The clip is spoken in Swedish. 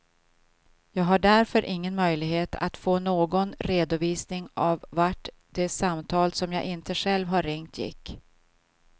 Jag har därför ingen möjlighet att få någon redovisning av vart de samtal som jag inte själv har ringt gick.